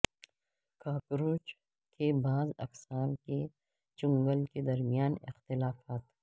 cockroach کی بعض اقسام کے چنگل کے درمیان اختلافات